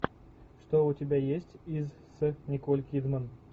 что у тебя есть из с николь кидман